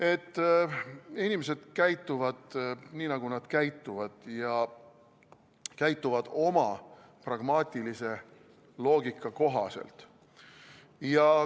Et inimesed käituvad nii, nagu nad käituvad ja käituvad oma pragmaatilise loogika kohaselt.